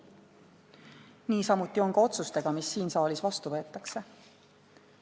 Niisamuti on ka otsustega, mis siin saalis vastu võetakse.